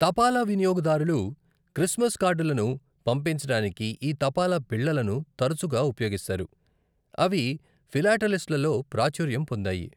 తపాలా వినియోగదారులు క్రిస్మస్ కార్డులను పంపించడానికి ఈ తపాలా బిళ్లలను తరచుగా ఉపయోగిస్తారు, అవి ఫిలాటలిస్ట్లలో ప్రాచుర్యం పొందాయి.